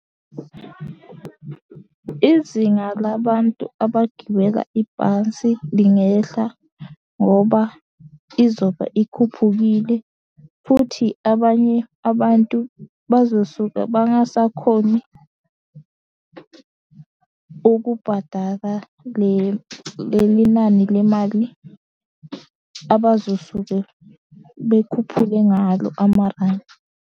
Izinga la bantu abagibela ibhansi lingehla, ngoba izoba ikhuphukile futhi abanye abantu bazo suke bangasakhoni ukubhadala leli nani lemali abazosuke bekhuphuke ngalo amarandi.